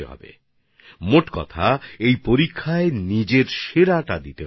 অর্থাৎ সব মিলিয়ে এই পরীক্ষায় নিজের সেরাটাকে বের করে আনতে হবে